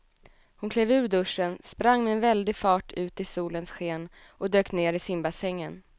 Hon klev ur duschen, sprang med väldig fart ut i solens sken och dök ner i simbassängen.